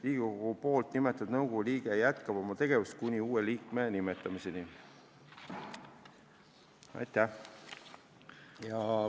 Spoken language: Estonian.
Riigikogu nimetatud nõukogu liige jätkab oma tegevust kuni uue liikme nimetamiseni.